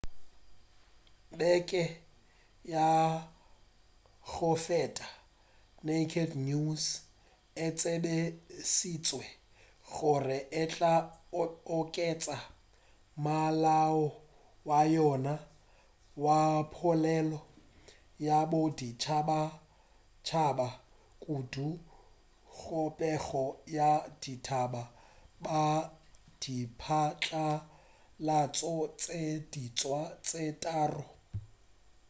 beke ya go feta naked news e tsebišitše gore e tla oketša molao wa yona wa polelo ya boditšhabatšhaba kudu go pego ya ditaba ka diphatlalatšo tše diswa tše tharo